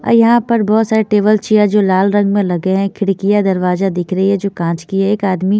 और यहां पर बहुत सारे टेबल चेयर जो लाल रंग में लगे हैं खिड़कियां दरवाजा दिख रही है जो कांच की है एक आदमी--